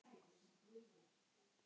Sem var þá ég.